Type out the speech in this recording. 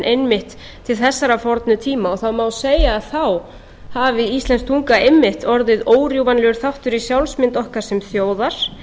einmitt til þessara fornu tíma og það má segja að þá hafi íslensk tunga einmitt orðið órjúfanlegur þáttur í sjálfsmynd okkar sem þjóðar